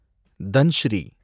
Dhansiri